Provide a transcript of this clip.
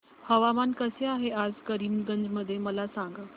हवामान कसे आहे आज करीमगंज मध्ये मला सांगा